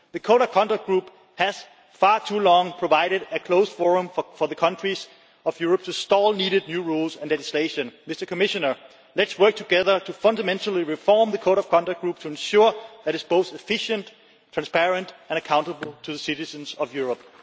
The Code of Conduct Group has for far too long provided a closed forum for the countries of Europe to stall needed new rules and legislation. Let us work together to fundamentally reform the Code of Conduct Group to ensure that it is both efficient, transparent and accountable to the citizens of Europe.